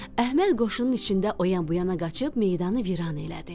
Əhməd qoşunun içində o yan-bu yana qaçıb meydanı viran elədi.